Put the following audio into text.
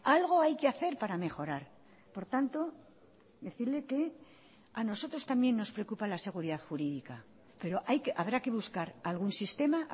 algo hay que hacer para mejorar por tanto decirle que a nosotros también nos preocupa la seguridad jurídica pero habrá que buscar algún sistema